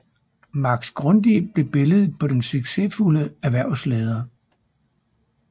Max Grundig blev billedet på den succesfulde erhvervsleder